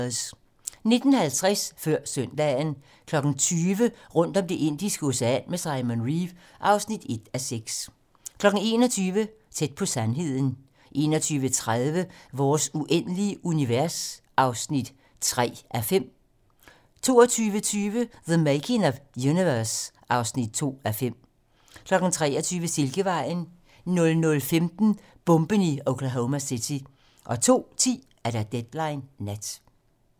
19:50: Før søndagen 20:00: Rundt om Det Indiske Ocean med Simon Reeve (1:6) 21:00: Tæt på sandheden 21:30: Vores uendelige univers (3:5) 22:20: The Making of Universe (3:5) 23:00: Silkevejen 00:15: Bomben i Oklahoma City 02:10: Deadline nat